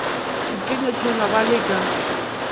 dikenywa tšela ba le ka